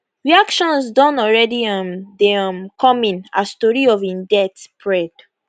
reactions don already um dey um come in as tori of e death spread